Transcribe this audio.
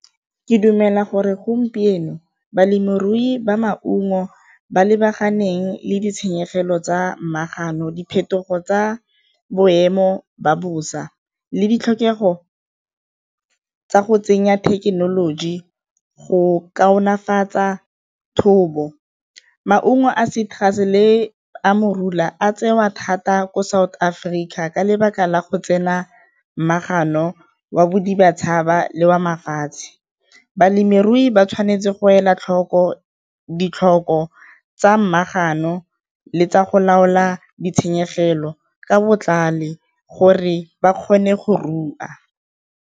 Ke dumela gore gompieno balemirui ba maungo ba lebaganeng le ditshenyegelo tsa , diphetogo tsa boemo ba bosa le ditlhokego tsa go tsenya thekenoloji go kaonefatso thobo. Maungo a le a morula a tsewa thata ko South Africa ka lebaka la go tsena wa le wa mafatshe. Balemirui ba tshwanetse go ela tlhoko ditlhoko tsa le tsa go laola ditshenyegelo ka botlhale gore ba kgone go rua.